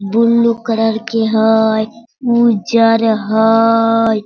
Blue colour के हय उज्जर हयय।